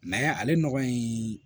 ale nɔgɔ in